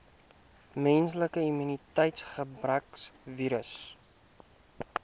menslike immuniteitsgebrekvirus